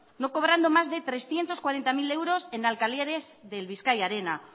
no cobrando más de trescientos cuarenta mil euros en alquileres del bizkaia arena